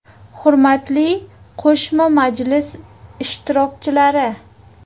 Hurmatli qo‘shma majlis ishtirokchilari!